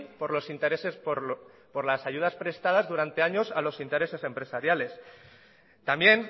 por los intereses por las ayudas prestadas durante años a los intereses empresariales también